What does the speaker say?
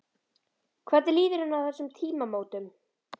Hvernig líður henni á þessum tímamótum?